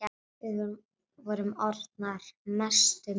Við vorum orðnar mestu mátar.